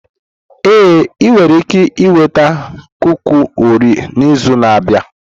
Ee, ị nwere ike ịnweta kuki Orio n'izu na-abịa.